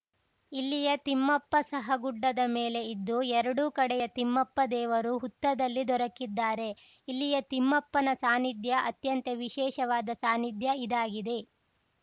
ಇಲ್ಲಿಯ ತಿಮ್ಮಪ್ಪ ಸಹ ಗುಡ್ಡದ ಮೇಲೆ ಇದ್ದು ಎರಡು ಕಡೆಯ ತಿಮ್ಮಪ್ಪ ದೇವರು ಹುತ್ತದಲ್ಲಿ ದೊರಕಿದ್ದಾರೆ ಇಲ್ಲಿಯ ತಿಮ್ಮಪ್ಪನ ಸಾನ್ನಿಧ್ಯ ಅತ್ಯಂತ ವಿಶೇಷವಾದ ಸಾನ್ನಿಧ್ಯ ಇದಾಗಿದೆ